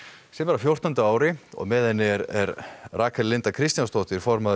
sem er á fjórtán ári og með henni er Rakel Linda Kristjánsdóttir formaður